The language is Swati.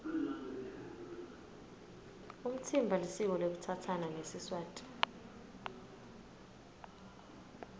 umtsimba lisiko lekutsatsana ngesiswati